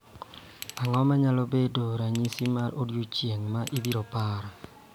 Ang�o ma nyalo bedo ranyisi mar odiechieng� ma ibiro par?